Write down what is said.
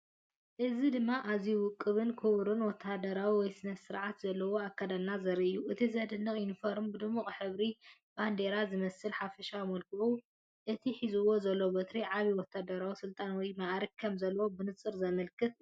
እዚ ድማ ኣዝዩ ውቁብን ክቡርን ወተሃደራዊ ወይ ስነ-ስርዓት ዘለዎ ኣከዳድና ዘርኢ እዩ። እቲ ዝድነቕ ዩኒፎርም ብድሙቕ ሕብሪ ባንዴራ ዝመስልን ሓፈሻዊ መልክዑን እቲ ሒዙዎ ዘሎ በትሪ ዓቢ ወተሃደራዊ ስልጣን ወይ መዓርግ ከም ዘለዎ ብንጹር ዘመልክት እዩ።